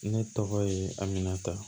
Ne tɔgɔ ye aminata